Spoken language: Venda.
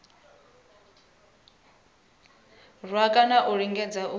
rwa kana a lingedza u